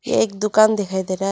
एक दुकान दिखाई दे रहा है।